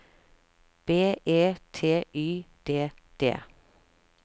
B E T Y D D